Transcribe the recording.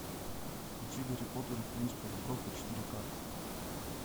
включи гарри поттер и принц полукровка четыре ка